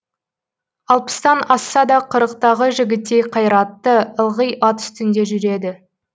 алпыстан асса да қырықтағы жігіттей қайратты ылғи ат үстінде жүреді